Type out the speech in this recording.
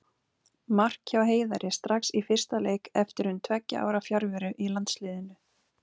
Mark hjá Heiðari strax í fyrsta leik eftir um tveggja ára fjarveru í landsliðinu.